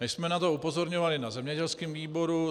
My jsme na to upozorňovali na zemědělském výboru.